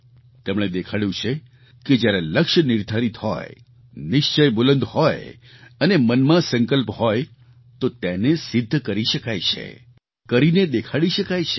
તેમણે દેખાડ્યું છે કે જ્યારે લક્ષ્ય નિર્ધારિત હોય નિશ્ચય બુલંદ હોય અને મનમાં સંકલ્પ હોય તો તેને સિદ્ધ કરી શકાય છે કરીને દેખાડી શકાય છે